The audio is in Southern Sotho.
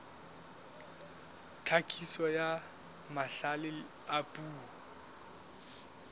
tlhakiso ya mahlale a puo